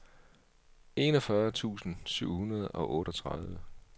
enogfyrre tusind syv hundrede og otteogtredive